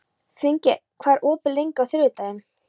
Finngeir, hvað er opið lengi á þriðjudaginn?